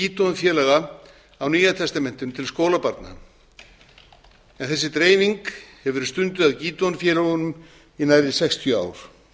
á fyrir dreifingu gídeonfélaga á nýja testamentinu til skólabarna en þessi dreifing hefur verið stunduð af gídeonfélögunum í nærri sextíu ár